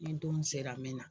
Ni don sera n bɛ na